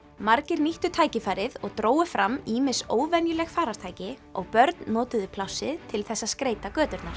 margir nýttu tækifærið og drógu fram ýmis óvenjuleg farartæki og börn notuðu plássið til þess að skreyta göturnar